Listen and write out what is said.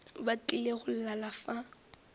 ba tlile go lala fa